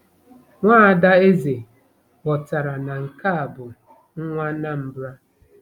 Nwa ada eze ghọtara na nke a bụ nwa Anambra.